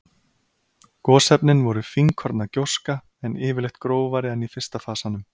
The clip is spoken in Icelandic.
Gosefnin voru fínkorna gjóska, en yfirleitt grófari en í fyrsta fasanum.